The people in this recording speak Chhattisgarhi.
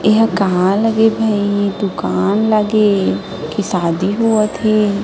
ये ह कहाँ लगे हे भाई दुकान लगे हे की शादी होवत हे।